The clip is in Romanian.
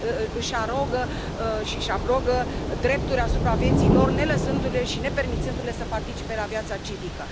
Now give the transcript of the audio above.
Își arogă drepturi asupra vieții lor, nelăsându le și nepermițându le să participe la viața civică.